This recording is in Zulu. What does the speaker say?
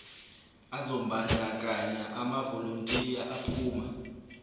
azombandakanya amavolontiya aphuma